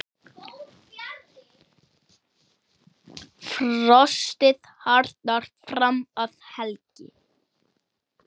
Frostið harðnar fram að helgi.